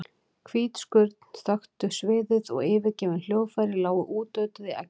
Hvít skurn þöktu sviðið og yfirgefin hljóðfæri lágu útötuð í eggjarauðu.